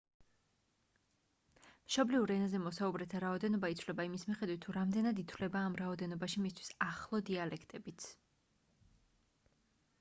მშობლიურ ენაზე მოსაუბრეთა რაოდენობა იცვლება იმის მიხედვით თუ რამდენად ითვლება ამ რაოდენობაში მისთვის ახლო დიალექტებიც